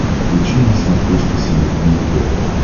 включи на смотрешке синергия тв